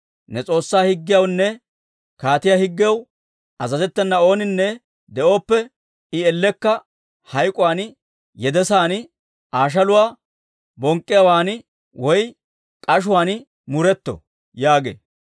Ne S'oossaa Higgiyawunne kaatiyaa higgiyaw azazettena ooninne de'ooppe, I Ellekka hayk'k'uwaan, yedesaan, Aa shaluwaa bonk'k'iyaawaan woy k'ashuwaan muretto» yaagee.